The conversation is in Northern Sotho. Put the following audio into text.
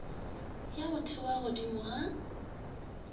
ya go thewa godimo ga